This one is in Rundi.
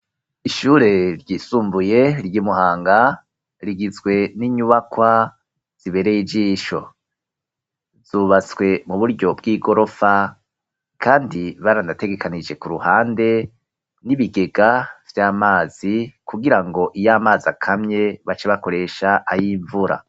Ishure ryisumbuye ry’ imuhanga rigizwe n'inyubakwa zibereye ijisho zubatswe mu buryo bw'igorofa, kandi baranategekanije ku ruhande n'ibigega vy'amazi kugira ngo iyo amazi akamye baca bakoresha ayimvura.